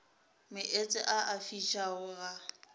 meetse a a fišago ga